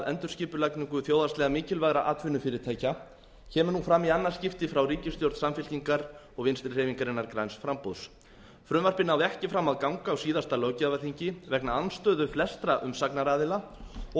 endurskipulagningu þjóðhagslega mikilvægra atvinnufyrirtækja kemur nú fram í annað skipti frá ríkisstjórn samfylkingarinnar og vinstri hreyfingarinnar græns framboðs frumvarpið náði ekki fram að ganga á síðasta löggjafarþingi vegna andstöðu flestra umsagnaraðila og